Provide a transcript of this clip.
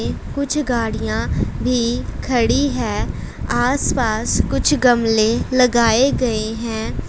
कुछ गाड़ियां भी खड़ी है आसपास कुछ गमले लगाए गए हैं।